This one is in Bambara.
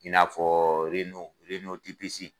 In n'afɔɔ reno reno tepese